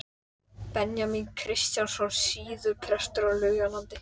Benjamín Kristjánsson, síðar prestur á Laugalandi.